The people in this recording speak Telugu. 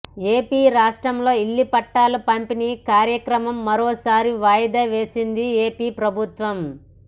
ఏపీ రాష్ట్రంలో ఇళ్ల పట్టాల పంపిణీ కార్యక్రమం మరోసారి వాయిదా వేసింది ఏపీ ప్రభుత్వం